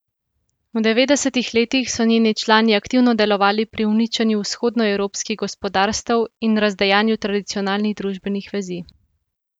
V devetdesetih letih so njeni člani aktivno delovali pri uničenju vzhodnoevropskih gospodarstev in razdejanju tradicionalnih družbenih vezi.